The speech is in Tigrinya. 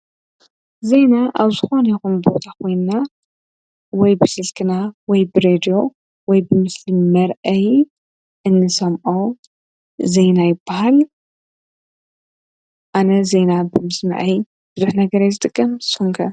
ዘይና ኣብ ዝኾን የኹምብታ ኾንና ወይ ብስልግና ወይ ብሬድ ወይ ብምስልም መርይ ኤንሰምኦ ዘይናይባህል ኣነ ዘይና ብምስማዐይ ድድኅ ነገር ይዝደቀም ሶንቀ